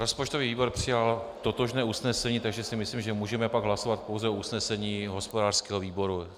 Rozpočtový výbor přijal totožné usnesení, takže si myslím, že můžeme pak hlasovat pouze o usnesení hospodářského výboru.